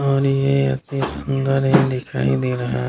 और ये अति सुंदर ही दिखाई दे रहा --